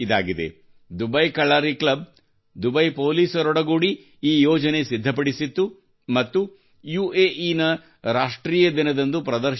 Dubai Kalari club Dubai ಪೊಲೀಸರೊಡಗೂಡಿ ಈ ಯೋಜನೆ ಸಿದ್ಧಪಡಿಸಿತ್ತು ಮತ್ತು ಯುಎಇ ನ ರಾಷ್ಟ್ರೀಯ ದಿನದಂದು ಪ್ರದರ್ಶಿಸಲಾಯಿತು